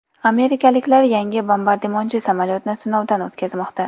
Amerikaliklar yangi bombardimonchi samolyotni sinovdan o‘tkazmoqda.